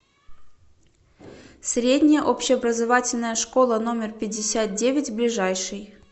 средняя общеобразовательная школа номер пятьдесят девять ближайший